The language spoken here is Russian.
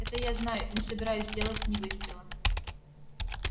это я знаю и не собираюсь сделать ни выстрела